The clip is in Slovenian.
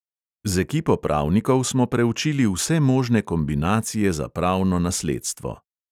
Z ekipo pravnikov smo preučili vse možne kombinacije za pravno nasledstvo.